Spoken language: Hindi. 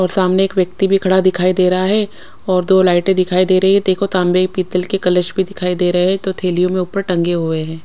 और सामने एक व्यक्ति भी खड़ा दिखाई दे रहा है और दो लाइटें दिखाई दे रही है देखो तांबे पीतल के कलश भी दिखाई दे रहे हैं तो थैलियों में ऊपर टंगे हुए है।